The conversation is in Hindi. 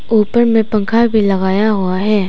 ऊपर में पंखा भी लगाया हुआ है।